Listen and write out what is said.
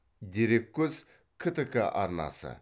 дереккөз ктк арнасы